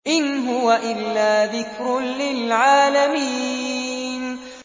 إِنْ هُوَ إِلَّا ذِكْرٌ لِّلْعَالَمِينَ